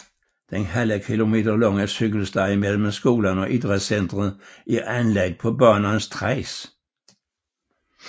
Den ½ km lange cykelsti mellem skolen og idrætscentret er anlagt på banens tracé